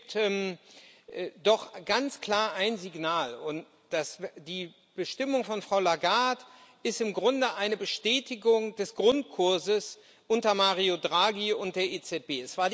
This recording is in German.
Es gibt doch ganz klar ein Signal, und die Ernennung von Frau Lagarde ist im Grunde eine Bestätigung des Grundkurses unter Mario Draghi und der EZB.